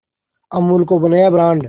अमूल को बनाया ब्रांड